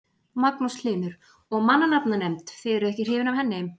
Magnús Hlynur: Og mannanafnanefnd, þið eruð ekki hrifin af henni?